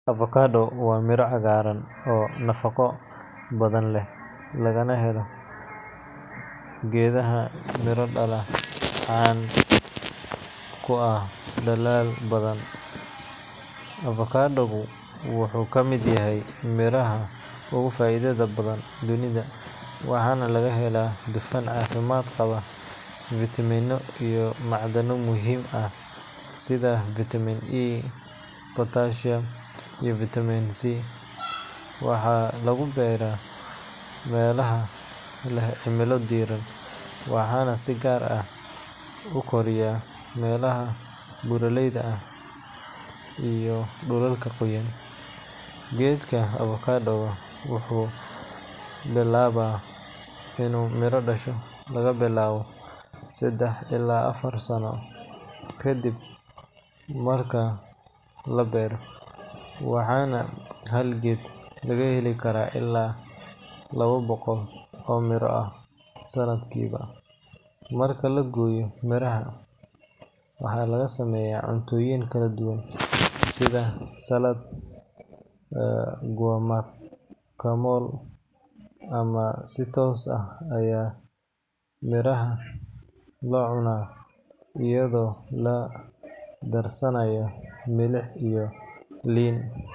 Avocado waa midho cagaaran oo nafaqo badan leh, lagana helo geed miro dhala oo caan ku ah dalal badan. Avocado-gu wuxuu ka mid yahay miraha ugu faa’iidada badan dunida, waxaana laga helaa dufan caafimaad qaba, fiitamiino, iyo macdano muhiim ah sida fiitamiin E, potassium, iyo fiitamiin C. Waxaa lagu beeraa meelaha leh cimilo diiran, waxaana si gaar ah u koraya meelaha buuraleyda ah iyo dhulalka qoyan. Geedka avocado-ga wuxuu bilaabaa inuu miro dhasho laga bilaabo saddex ilaa afar sano kadib marka la beero, waxaana hal geed laga heli karaa ilaa laba boqol oo miro ah sanadkiiba. Marka la gooyo miraha, waxaa laga sameeyaa cuntooyin kala duwan sida salad, guacamole, ama si toos ah ayaa loo cunaa iyadoo la darsanayo milix iyo liin.